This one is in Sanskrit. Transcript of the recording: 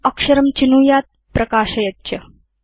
इदम् अक्षरं चिनुयात् प्रकाशयेत् च